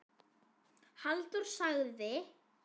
Halldór sagði: